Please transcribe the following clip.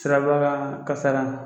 Siraba kasara